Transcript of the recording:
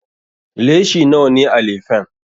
Leshi nawa ne a lefen?